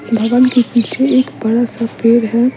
भवन के पीछे एक बड़ा सा परे है।